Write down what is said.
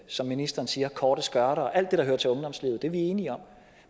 som ministeren siger korte skørter og alt det der hører til ungdomslivet det er vi enige om